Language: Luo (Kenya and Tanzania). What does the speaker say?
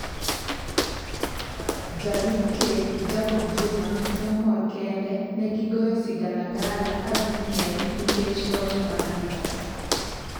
Jolup ker Jacob Juma ne omor kende negigoyo sigalagala ka gimiel nikech loch margi.